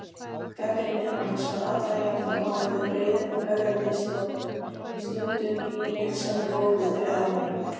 Gagnrýni hans var alla jafna máluð breiðum ögrandi strokum, stundum í vinsælum bókum fyrir almenning.